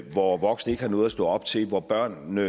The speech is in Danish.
hvor voksne ikke har noget at stå op til hvor børnene